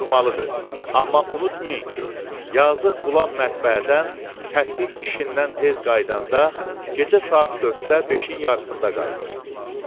Durmalıdır, amma unutmayın ki, yazıq Qulam mətbəədən təshi işindən tez qayıdanda gecə saat 4-də, 5-in yarısında qayıdır.